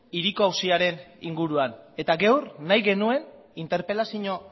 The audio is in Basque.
hiriko auziaren inguruan eta gaur nahi genuen interpelazio